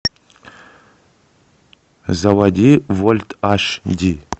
заводи вольт аш ди